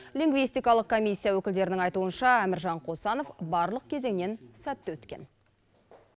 лингистакалық коммисия өкілдерінің айтуынша әміржан қосанов барлық кезеңнен сәтті өткен